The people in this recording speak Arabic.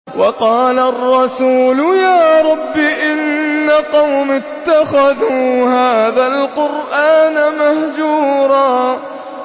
وَقَالَ الرَّسُولُ يَا رَبِّ إِنَّ قَوْمِي اتَّخَذُوا هَٰذَا الْقُرْآنَ مَهْجُورًا